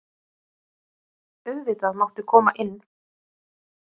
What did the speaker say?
Auðvitað máttu koma inn.